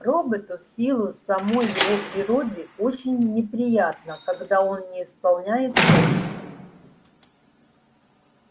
роботу в силу самой его природы очень неприятно когда он не исполняет своих функций